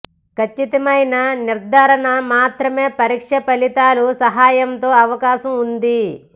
ఖచ్చితమైన నిర్ధారణ మాత్రమే పరీక్ష ఫలితాలు సహాయంతో అవకాశం ఉంది